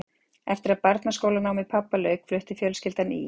Eftir að barnaskólanámi pabba lauk flutti fjölskyldan í